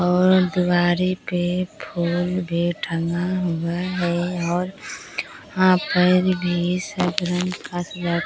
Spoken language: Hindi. और दीवारें पे फूल भी टंगा हुआ है और वहां पर भी